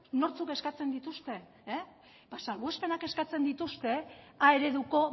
nortzuk eskatzen dituzten salbuespenak eskatzen dituzte a ereduko